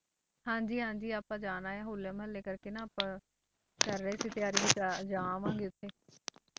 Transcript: ਹਾਂਜੀ ਹਾਂਜੀ ਆਪਾਂ ਜਾਣਾ ਹੈ ਹੋਲੇ ਮਹੱਲੇ ਕਰਕੇ ਨਾ ਆਪਾਂ ਕਰ ਰਹੇ ਸੀ ਤਿਆਰੀ ਵੀ ਜਾ ਜਾ ਆਵਾਂਗੇ ਉੱਥੇ